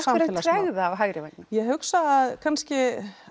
tregða á hægri vængnum ég hugsa kannski